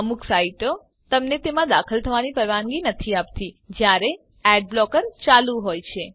અમુક સાઈટો તમને તેમાં દાખલ થવાની પરવાનગી નથી આપતી જયારે એડ બ્લોકર ઓન ચાલુ હોય છે